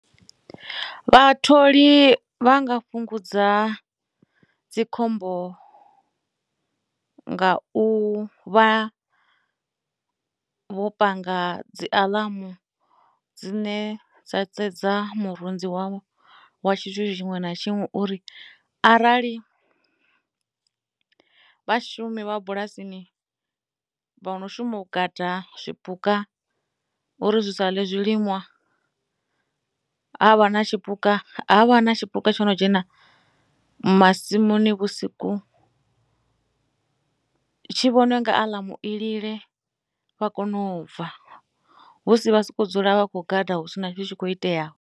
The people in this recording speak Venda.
Vhatholi vha nga fhungudza dzikhombo nga u vha vho panga dzi aḽumu dzine dza sedza murunzi wavho wa tshithu tshiṅwe na tshiṅwe uri arali vhashumi vha bulasini vho no shuma u gada zwipuka uri zwi sa ḽe zwilimwa ha vha na tshipuka ha vha na tshipuka tshi no dzhena masimuni vhusiku tshi vhone nga aḽamu i lile vha kone u bva husi vha siko dzula vha khou gada hu si na tshithu tshi kho iteaho.